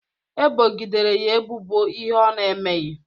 Ebogidere ya ebubo ihe ọ ná-emeghị